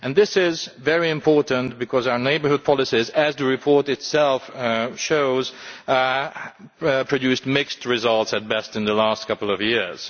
This is very important because our neighbourhood policies, as the report itself shows, have produced mixed results at best in the last couple of years.